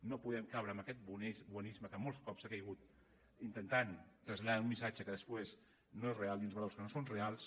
no podem caure en aquest bonisme en què molts cops s’ha caigut intentant traslladar un missatge que després no és real i uns valors que no són reals